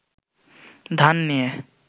ধান নিয়ে